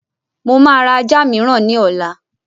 Mo máa ra ajá mìíràn ní ọ̀la